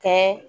Kɛ